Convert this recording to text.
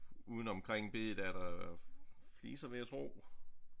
Uden omkring bedet er der fliser vil jeg tro